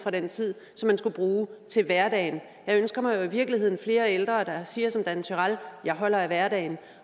den tid som man skulle bruge til hverdagen jeg ønsker mig jo i virkeligheden flere ældre der siger som dan turèll jeg holder af hverdagen